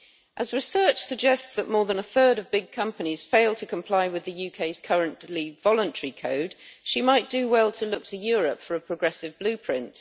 As research suggests that more than a third of big companies fail to comply with the UK's currently voluntary code, she might do well to look to Europe for a progressive blueprint.